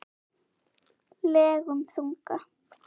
legum þunga.